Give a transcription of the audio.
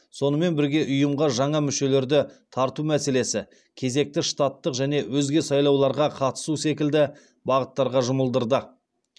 сонымен бірге ұйымға жаңа мүшелерді тарту мәселесі кезекті штаттық және өзге сайлауларға қатысу секілді бағыттарға жұмылдырды